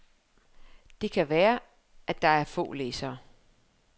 Det kan gerne være, at det er få læsere.